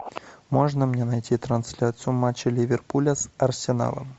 можно мне найти трансляцию матча ливерпуля с арсеналом